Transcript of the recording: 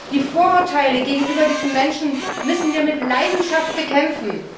Die Vorurteile gegenüber diesen Menschen müssen wir mit Leidenschaft bekämpfen.